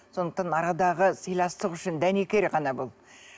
сондықтан арадағы сыйластық үшін дәнекер ғана бұл